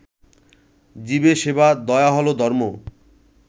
জীবে সেবা, দয়া হল ধর্ম